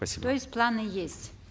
спасибо то есть планы есть